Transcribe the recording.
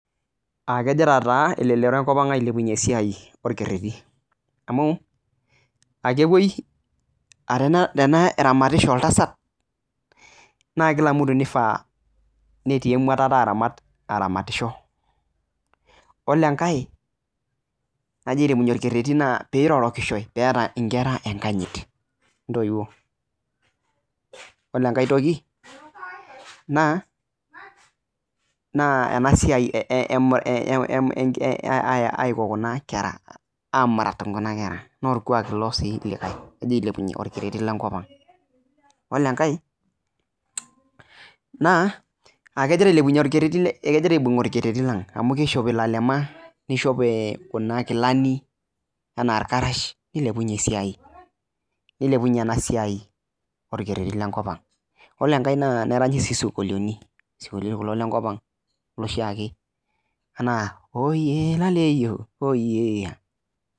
Kegira taa elelero enkopang ailepunyie esiai orkereti amu kepoi ,aa teneramatisho oltasat, naa kifaa naa ore kila mtu netii emuatata aramatisho. Yiolo enkae pee epuoi ailepunyie orkereti naa pirorokishoi neeta nkera enkanyit toontoiwuo. Yiolo enkae toki, naa enasiai amurat kuna kera naa orkuak likae sii ilo ogira ailepunyie orkereti lenkopang. Yilo enkae naa ekegira ailepunyie orketeri lenkopang amu kegira aishop lalema nishop kuna kilani, anaa orkarasha nilepunye ena siai orkereti lenkopang. Ore enkae naa neranyi sii sinkolioitin lenkopang ,loshi ake .